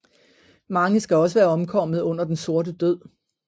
Mange skal også være omkommet under Den Sorte Død